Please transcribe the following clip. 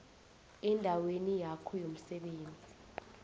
endaweni yakho yomsebenzi